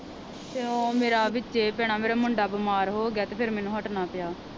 ਤੇ ਉਹ ਮੇਰਾ ਵਿਚੇ ਭੈਣਾਂ ਮੇਰਾ ਮੁੰਡਾ ਬਿਮਾਰ ਹੋਗਿਆ ਤੇ ਫਿਰ ਮੈਨੂੰ ਹਟਣਾ ਪਿਆ।